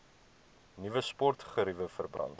nuwe sportgeriewe verband